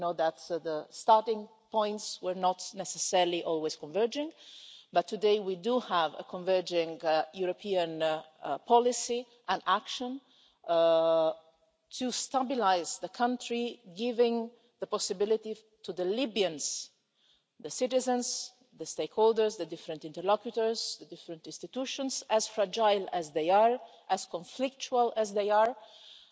You know that the starting points were not necessarily always converging but today we do have a converging European policy and action to stabilise the country, giving the Libyans, the citizens, the stakeholders, the different interlocutors, the different institutions, as fragile as they are, as conflictual as they are, the possibility